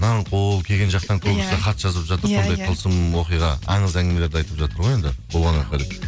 нарынқол кеген жақтан көбісі хат жазып жатыр сондай тылсым оқиға аңыз әңгімелерді айтып жатыр ғой енді болған оқиға